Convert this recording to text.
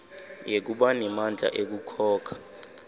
yekuba nemandla ekukhokha